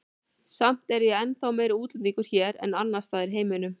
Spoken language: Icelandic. Samt er ég ennþá meiri útlendingur hér en annars staðar í heiminum.